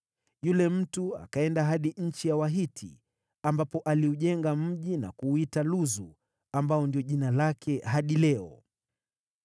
Yule mtu akaenda hadi nchi ya Wahiti, ambapo aliujenga mji na kuuita Luzu, ambao ndio jina lake hadi leo.